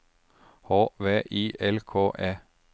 H V I L K E